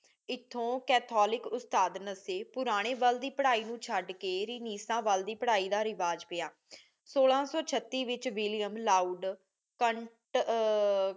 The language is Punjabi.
ਏਥੋਂ ਕੈਥੋਲਿਕ ਉਸਤਾਦ ਨਾਸੇ ਪੁਰਾਨੀ ਵਾਲ ਦੀ ਪਢ਼ਾਈ ਨੂ ਸ਼ਡ ਕੇ ਰੇਨਿਸਤਾ ਵਾਲ ਦੀ ਪਢ਼ਾਈ ਦਾ ਰਿਵਾਜ ਪਿਆ ਸੋਲਾ ਸੋ ਚਾਤੀਸ ਵਿਚ ਵਿਲਿਅਮ ਲਾਓਡ